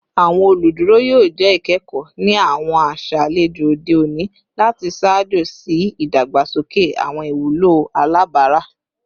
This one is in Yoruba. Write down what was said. Awọn oluduro yoo jẹ ikẹkọ ni awọn aṣa alejò ode oni lati ṣaajo si idagbasoke awọn iwulo alabara